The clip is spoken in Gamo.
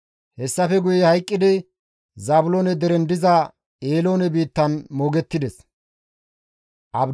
Hessafe guye hayqqidi Zaabiloone deren diza Eeloone biittan moogettides.